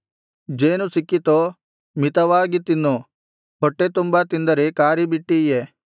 ಜೇನು ಸಿಕ್ಕಿತೋ ಮಿತವಾಗಿ ತಿನ್ನು ಹೊಟ್ಟೆತುಂಬಾ ತಿಂದರೆ ಕಾರಿಬಿಟ್ಟೀಯೇ